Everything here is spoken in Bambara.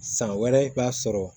San wɛrɛ i b'a sɔrɔ